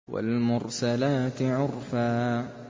وَالْمُرْسَلَاتِ عُرْفًا